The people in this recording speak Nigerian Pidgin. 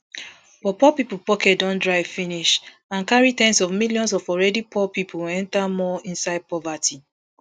but poor pipo pocket don dry finish and carry ten s of millions of already poor pipo don enta more inside poverty